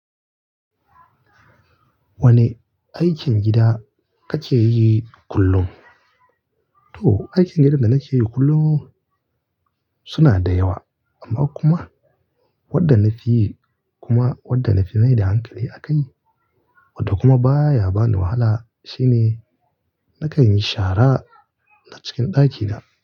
Wane aikin gida kake yi kullum? To, aikin gidan da nake yi kullum suna da yawa amma kuma wanda na fi yi kuma wanda na fi mai da hankali a kai wanda kuma baya bani wahala shine nakan yi shara a cikin ɗakina.